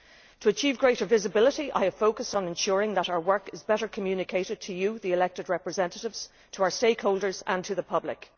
To achieve greater visibility, I have focused on ensuring that our work is better communicated to you, the elected representatives, to our stakeholders and to the public.